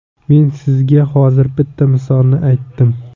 Men sizga hozir bitta misolni aytdim.